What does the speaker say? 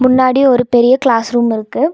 முன்னாடி ஒரு பெரிய கிளாஸ் ரூமிருக்கு .